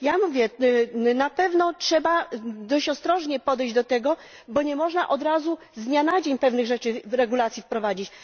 Ja mówię tak na pewno trzeba dość ostrożnie podejść do tego, bo nie można od razu, z dnia na dzień pewnych regulacji wprowadzić.